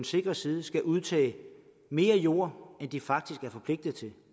sikre side skal udtage mere jord end de faktisk er forpligtet til